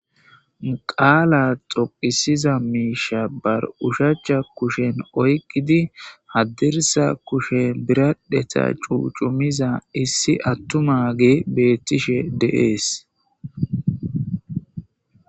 Qaala xoqisiza miisha ba ushshachcha kushen oyqidi haddirssa kushen biraddheta cuucumiza issi attumagey beettishe de'ees